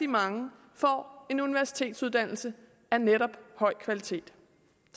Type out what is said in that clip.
mange får en universitetsuddannelse af netop høj kvalitet